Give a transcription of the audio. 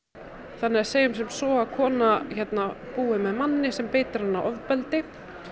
þannig að segjum sem svo að kona búi með manni sem beitir hana ofbeldi